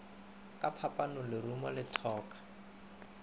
ka phapanong lerumo le thoka